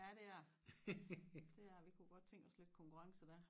Ja det er det det er det vi kunne godt tænke os lidt konkurrence da